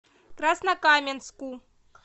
краснокаменску